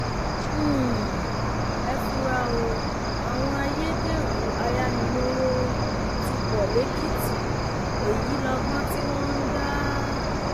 um ẹ fura o àwọn ayédèrú ayánilówó um ti pọ lẹkìtì èyí lọgbọn tí wọn ń dá